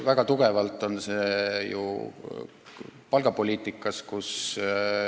Väga tugevalt on see kinni palgapoliitikas.